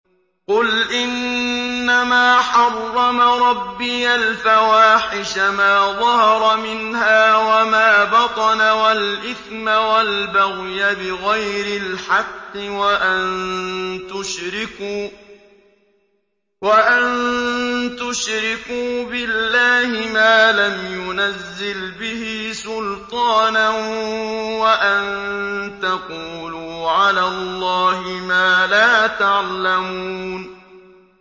قُلْ إِنَّمَا حَرَّمَ رَبِّيَ الْفَوَاحِشَ مَا ظَهَرَ مِنْهَا وَمَا بَطَنَ وَالْإِثْمَ وَالْبَغْيَ بِغَيْرِ الْحَقِّ وَأَن تُشْرِكُوا بِاللَّهِ مَا لَمْ يُنَزِّلْ بِهِ سُلْطَانًا وَأَن تَقُولُوا عَلَى اللَّهِ مَا لَا تَعْلَمُونَ